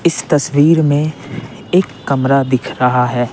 इस तस्वीर में एक कमरा दिख रहा है।